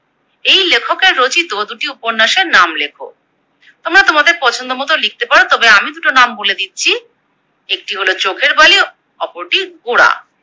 এই লেখকের রচিত দুটি উপন্যাসের নাম লেখো। তোমরা তোমাদের পছন্দ মতো লিখতে পারো তবে আমি দুটো নাম বলে দিচ্ছি, একটি হলো চোখের বালি ও অপরটি গোরা।